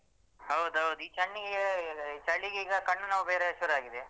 ಹೌದೌದು ಈ ಚಳಿಗೆ ಚಳಿಗೀಗ ಕಣ್ಣು ನೋವು ಬೇರೆ ಶುರು ಆಗಿದೆ.